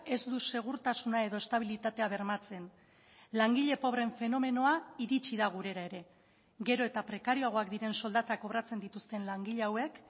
ez du segurtasuna edo estabilitatea bermatzen langile pobreen fenomenoa iritsi da gurera ere gero eta prekarioagoak diren soldatak kobratzen dituzten langile hauek